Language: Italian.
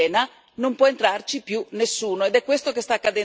Quando una stanza è piena non può entrarci più nessuno.